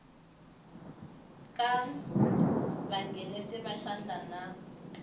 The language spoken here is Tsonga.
ka vanghenisi va xandla na